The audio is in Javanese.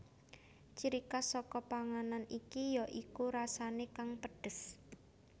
Ciri khas saka panganan iki ya iku rasane kang pedhes